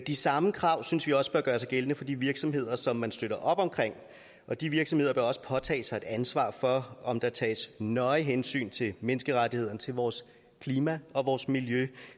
de samme krav synes vi også bør gøre sig gældende for de virksomheder som man støtter op omkring og de virksomheder vil også påtage sig et ansvar for om der tages nøje hensyn til menneskerettighederne til vores klima og vores miljø